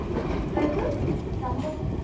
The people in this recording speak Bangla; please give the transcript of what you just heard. dress এর. জামাকাপড়.